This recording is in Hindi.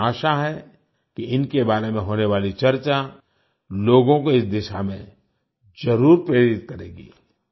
मुझे आशा है कि इनके बारे में होने वाली चर्चा लोगों को इस दिशा में जरुर प्रेरित करेगी